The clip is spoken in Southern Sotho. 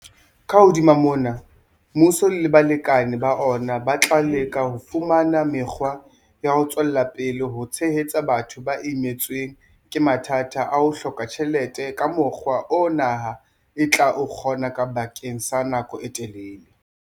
Ka hodima mona, mmuso le balekane ba ona ba tla leka ho fumana mekgwa ya ho tswela pele ho tshehetsa batho ba imetsweng ke mathata a ho hloka tjhelete ka mokgwa oo naha e tla o kgona bakeng sa nako e telele.